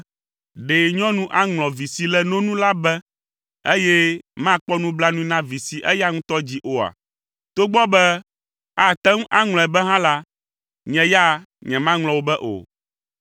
“Ɖe nyɔnu aŋlɔ vi si le no nu la be, eye makpɔ nublanui na vi si eya ŋutɔ dzi oa? Togbɔ be ate ŋu aŋlɔe be hã la, nye ya nyemaŋlɔ wò be o!